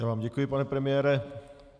Já vám děkuji, pane premiére.